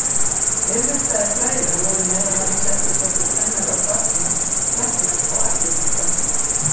Vel menntaðir þrælar voru meðal annars eftirsóttir kennarar barna, læknar og arkítektar.